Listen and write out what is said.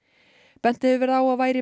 bent hefur verið á að væri